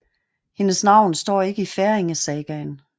Hendes navn står ikke i Færingesagaen